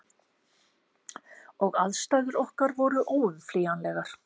Og aðstæður okkar voru óumflýjanlegar.